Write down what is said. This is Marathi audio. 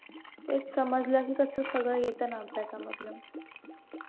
तेच समजलं की कसं सगळं येतं ना अभ्यासामधलं